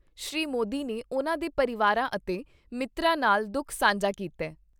ਸ਼੍ਰੀ ਮੋਦੀ ਨੇ ਉਨ੍ਹਾਂ ਦੇ ਪਰਿਵਾਰਾਂ ਅਤੇ ਮਿੱਤਰਾਂ ਨਾਲ ਦੁਖ ਸਾਂਝਾ ਕੀਤਾ ।